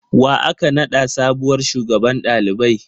Wa aka naɗa sabuwar shugaban ɗalibai?